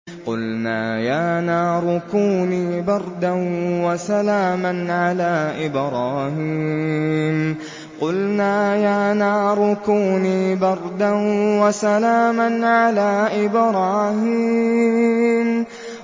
قُلْنَا يَا نَارُ كُونِي بَرْدًا وَسَلَامًا عَلَىٰ إِبْرَاهِيمَ